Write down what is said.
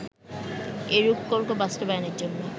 এই রূপকল্প বাস্তবায়নের জন্য